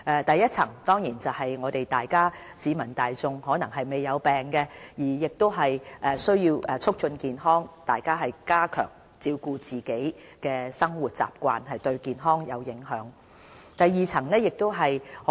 第一層的工作對象是市民大眾，他們或許沒有患病，但亦需要促進健康，加強自我照顧，多注意會影響健康的生活習慣。